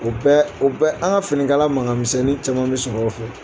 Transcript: O bɛ o bɛ an ka finikala mankanmisɛnnin caman bɛ sɔrɔ o fɛ